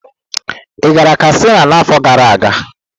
Ị gara Katsina n'afọ gara aga?